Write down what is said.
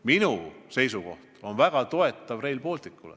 Mina väga toetan Rail Balticut.